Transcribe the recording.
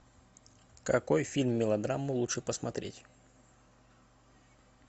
какой фильм мелодраму лучше посмотреть